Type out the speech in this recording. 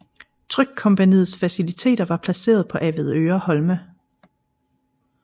Trykkompagniets faciliteter var placeret på Avedøre Holme